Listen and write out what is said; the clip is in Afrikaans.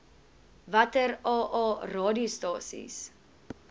watter aa radiostasies